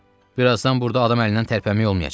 Birazdan burda adam əlindən tərpənmək olmayacaq.